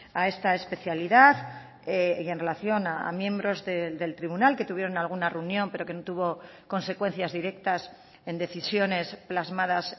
a esta especialidad y en relación a miembros del tribunal que tuvieron alguna reunión pero que no tuvo consecuencias directas en decisiones plasmadas